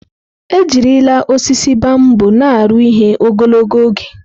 Ejirila osisi bambọ na aru ihe ogologo oge.